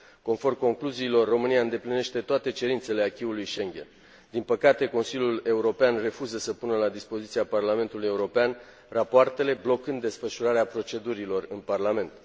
Conform concluziilor, România îndeplinește toate cerințele acquis ului Schengen. Din păcate, Consiliul European refuză să pună la dispoziția Parlamentului European rapoartele, blocând desfășurarea procedurilor în Parlament.